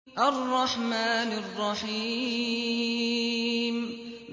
الرَّحْمَٰنِ الرَّحِيمِ